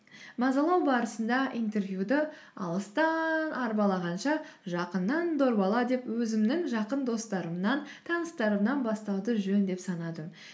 мазалау барысында интервьюді алыстан арбалағанша жақыннан дорбала деп өзімнің жақын достарымнан таныстарымнан бастауды жөн деп санадым